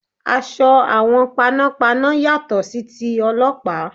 Aṣọ àwọn panọ́panọ́ yàtọ̀ sí ti Ọlọ́pàá.